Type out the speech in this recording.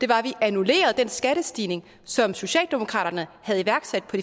var at vi annullerede den skattestigning som socialdemokraterne havde iværksat på